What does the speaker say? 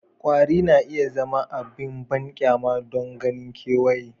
Kwari na iya zama abin banƙyama don ganin kewaye